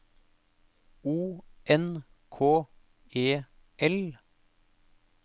O N K E L